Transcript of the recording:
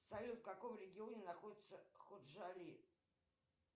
салют в каком регионе находится ходжали